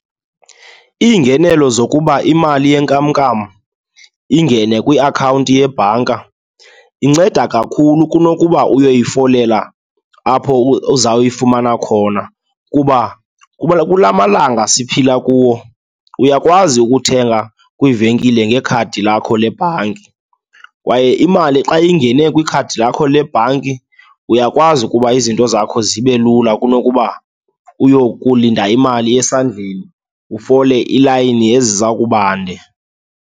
Iingenelo zokuba imali yenkamnkam ingene kwiakhawunti yebhanka inceda kakhulu kunokuba uyoyifolela apho uzawuyifumana khona, kuba kula malanga siphila kuwo uyakwazi ukuthenga kwiivenkile ngekhadi lakho lebhanki kwaye imali xa ingene kwikhadi lakho le bhanki uyakwazi ukuba izinto zakho zibe lula kunokuba uyokulinda imali esandleni, ufole iilayini eziza kubande.